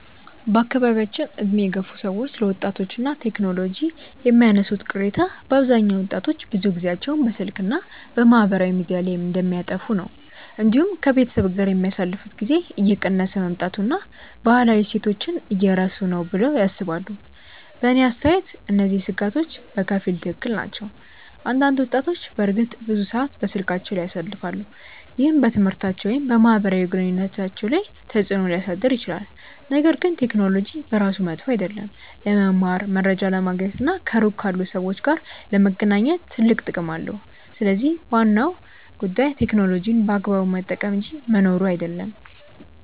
በአካባቢያችን ዕድሜ የገፉ ሰዎች ስለ ወጣቶች እና ቴክኖሎጂ የሚያነሱት ቅሬታ በአብዛኛው ወጣቶች ብዙ ጊዜያቸውን በስልክ እና በማህበራዊ ሚዲያ ላይ እንደሚያጠፉ ነው። እንዲሁም ከቤተሰብ ጋር የሚያሳልፉት ጊዜ እየቀነሰ መምጣቱን እና ባህላዊ እሴቶችን እየረሱ ነው ብለው ያስባሉ። በእኔ አስተያየት እነዚህ ስጋቶች በከፊል ትክክል ናቸው። አንዳንድ ወጣቶች በእርግጥ ብዙ ሰዓት በስልካቸው ላይ ያሳልፋሉ፣ ይህም በትምህርታቸው ወይም በማህበራዊ ግንኙነታቸው ላይ ተጽእኖ ሊያሳድር ይችላል። ነገር ግን ቴክኖሎጂ በራሱ መጥፎ አይደለም። ለመማር፣ መረጃ ለማግኘት እና ከሩቅ ካሉ ሰዎች ጋር ለመገናኘት ትልቅ ጥቅም አለው። ስለዚህ ዋናው ጉዳይ ቴክኖሎጂን በአግባቡ መጠቀም እንጂ መኖሩ አይደለም።